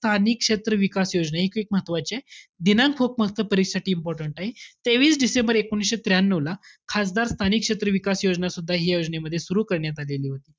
स्थानिक विकास क्षेत्र विकास योजना, हे एक म्हत्वाचीय. दिनांक फ~ खूप फक्त परीक्षेसाठी important आहे. तेवीस डिसेंबर एकोणविशे त्र्यानऊला, खासदार स्थानिक क्षेत्र विकास योजनसुद्धा हि या योजनेमध्ये सुरु करण्यात आलेली होती.